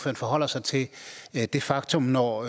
forholder sig til det faktum når